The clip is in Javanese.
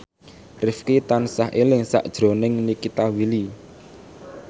Rifqi tansah eling sakjroning Nikita Willy